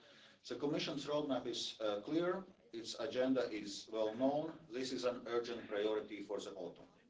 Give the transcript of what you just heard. The Commission's roadmap is clear, its agenda is well known and this is an urgent priority for the autumn.